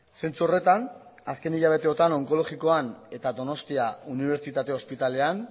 zentzu horretan azken hilabeteotan onkologikoan eta donostia unibertsitate ospitalean